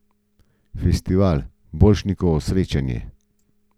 Festival Borštnikovo srečanje.